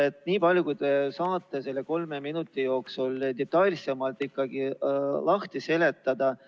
Rääkige nii palju, kui te saate selle kolme minuti jooksul, et detailsemalt lahti seletada.